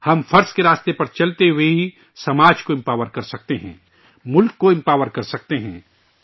ہم فرائض کی راہ پر چلتے ہوئے ہی سماج کو بااختیاربناسکتے ہیں، ملک کو مضبوط بناسکتے ہیں